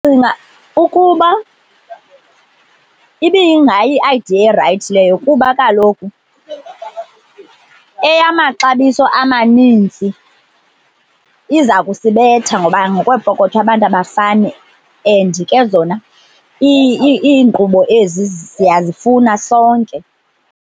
Ndicinga ukuba ibiyingayi yiadiya erayithi leyo kuba kaloku eyamaxabiso amaninzi iza kusibetha ngoba ngokweepokotho abantu abafani and ke zona iinkqubo ezi siyazifuna sonke.